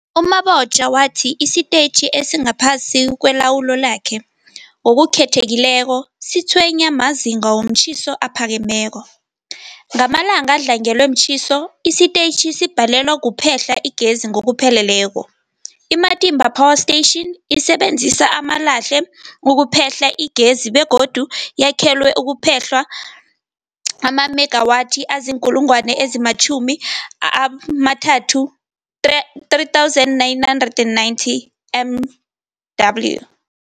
U-Mabotja wathi isitetjhi esingaphasi kwelawulo lakhe, ngokukhethekileko, sitshwenywa mazinga womtjhiso aphakemeko. Ngamalanga adlangelwe mtjhiso, isitetjhi sibhalelwa kuphehla igezi ngokupheleleko. I-Matimba Power Station isebenzisa amalahle ukuphehla igezi begodu yakhelwe ukuphehla amamegawathi azii-3990 MW.